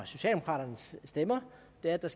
er det